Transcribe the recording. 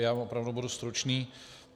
Já opravdu budu stručný.